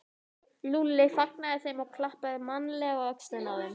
Lúlli fagnaði þeim og klappaði mannalega á öxlina á þeim.